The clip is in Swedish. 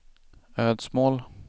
Ödsmål